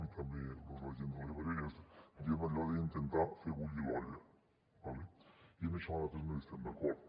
i també la gent de l’ebre diem allò d’ intentar fer bullir l’olla d’acord i en això nosaltres no hi estem d’acord